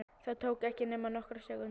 Það tók ekki nema nokkrar sekúndur.